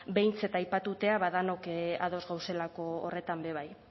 behintzat aipatutzea ba denok ados gauzelako horretan bebai